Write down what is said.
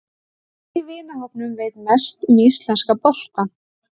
Hver í vinahópnum veit mest um íslenska boltann?